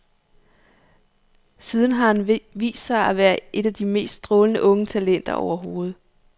Siden har han vist sig at være et af de mest strålende unge talenter overhovedet.